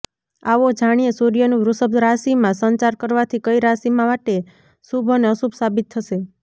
આવો જાણીએ સૂર્યનું વૃષભ રાશિમાં સંચાર કરવાથી કઇ રાશિમાં માટે શુભ અને અશુભ સાબિત થશે